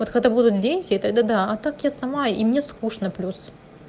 вот когда будут дети тогда да а так я сама и мне скучно плюс